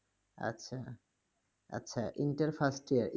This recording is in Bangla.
আচ্ছা আচ্ছা, intern first year